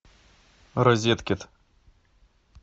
розеткед